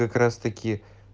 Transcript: как раз таки